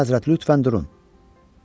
Əlahəzrət lütfən durun.